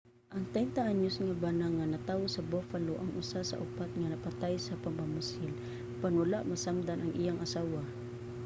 ang 30 anyos nga bana nga natawo sa buffalo ang usa sa upat nga napatay sa pagpamusil apan wala masamdan ang iyang asawa